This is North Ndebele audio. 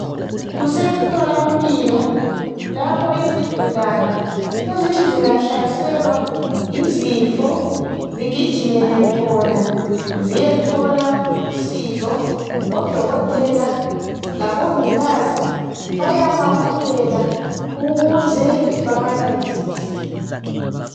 Kusemtholampilo lapho izigulane ezithi zingahlaselwa yizifo zigijimele khona ziyethola usizo. Odokotela labongikazi bayabamukela ukuze babancedise.